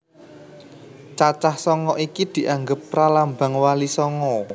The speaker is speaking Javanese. Cacah sanga iki dianggep pralambang Wali Sanga